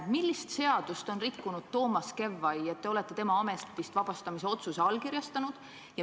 Millist seadust on rikkunud Toomas Kevvai, et te olete tema ametist vabastamise otsuse allkirjastanud?